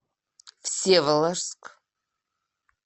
всеволожск